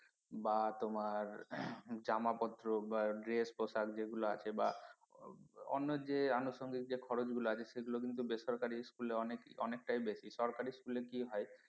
বা তোমার জামা পত্র বা dress পোশাক যেগুলো আছে বা অন্য যে আনুষঙ্গিক যে খরচ গুলো আছে সেগুলো কিন্তু বেসরকারি school এ অনেকটাই বেশি সরকারি school এ কি হয়